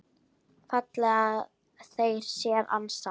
fallega þeir sér ansa.